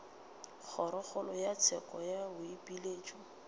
kgorokgolo ya tsheko ya boipiletšo